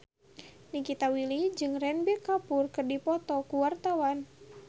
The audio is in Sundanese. Nikita Willy jeung Ranbir Kapoor keur dipoto ku wartawan